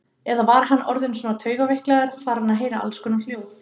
Eða var hann orðinn svona taugaveiklaður, farinn að heyra allskonar hljóð?